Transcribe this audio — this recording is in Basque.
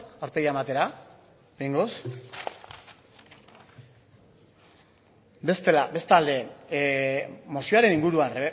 aurpegia ematera behingoz bestalde mozioaren inguruan